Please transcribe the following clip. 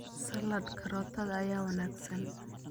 Salad karootada ayaa wanaagsan.